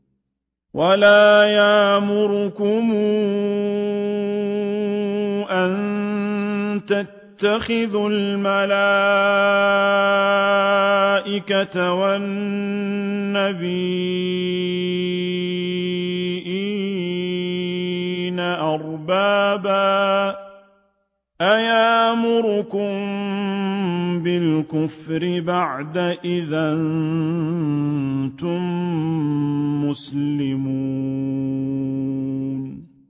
وَلَا يَأْمُرَكُمْ أَن تَتَّخِذُوا الْمَلَائِكَةَ وَالنَّبِيِّينَ أَرْبَابًا ۗ أَيَأْمُرُكُم بِالْكُفْرِ بَعْدَ إِذْ أَنتُم مُّسْلِمُونَ